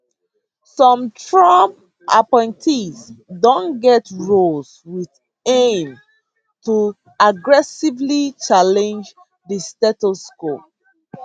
some trump appointees don get roles wit aim to aggressively challenge di status quo